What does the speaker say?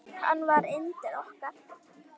Hann var yndið okkar.